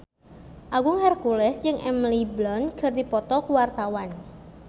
Agung Hercules jeung Emily Blunt keur dipoto ku wartawan